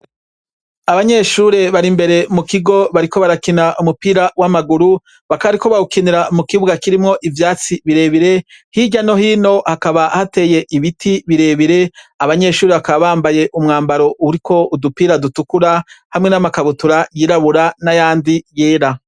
Abanyeshure bari imbere mu kigo bariko barakina umupira w'amaguru, bakaba bariko bawukinira mu kibuga kirimwo ivyatsi birebire, hirya no hino hakaba hateye ibiti birebire, abanyeshure bakaba bambaye umwambaro uriko udupira dutukura hamwe n'amakabutura yirabura n'ayandi yera.